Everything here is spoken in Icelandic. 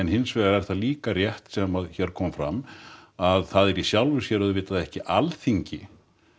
hins vegar er það líka rétt sem að hér kom fram að það er í sjálfu sér ekki Alþingi